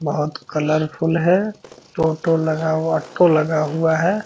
बहुत कलरफुल है टोटो लगा हुआ लगा हुआ है।